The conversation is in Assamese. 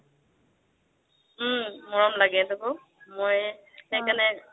উম মৰম লাগে মই সেইকাৰণে